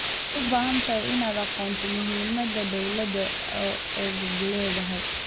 Waxaad u baahan tahay inaad ogaato muhiimada dawlad goboleedyada.